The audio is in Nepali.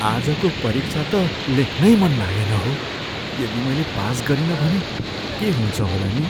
आजको परीक्षा त लेख्नै मन लागेन हौ। यदि मैले पास गरिनँ भने के हुन्छ होला नि?